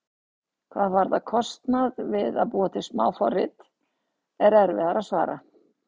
Hvað varðar kostnað við að búa til smáforrit er erfiðara að svara.